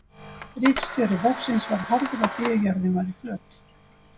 Ritstjóri vefsins var harður á því að jörðin væri flöt.